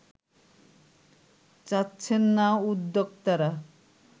চাচ্ছেন না উদ্যোক্তারা